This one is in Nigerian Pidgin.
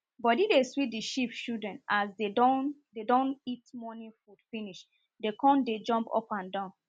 body dey sweet the sheep children as dem don dem don eat morning food finish dem con dey jump upandan